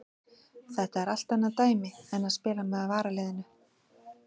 Þetta er allt annað dæmi en að spila með varaliðinu.